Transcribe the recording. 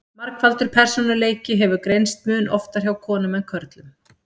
Margfaldur persónuleiki hefur greinst mun oftar hjá konum en körlum.